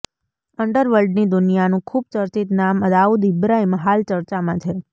અંડરવર્લ્ડની દુનિયાનું ખુબ જ ચર્ચિત નામ દાઉદ ઈબ્રાહિમ હાલ ચર્ચામાં છે